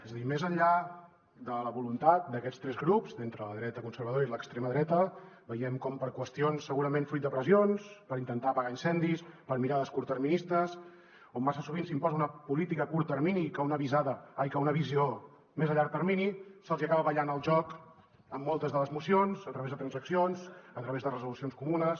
és a dir més enllà de la voluntat d’aquests tres grups d’entre la dreta conservadora i l’extrema dreta veiem com per qüestions segurament fruit de pressions per intentar apagar incendis per mirades curtterministes on massa sovint s’imposa una política a curt termini que una visió més a llarg termini se’ls hi acaba ballant el joc en moltes de les mocions a través de transaccions a través de resolucions comunes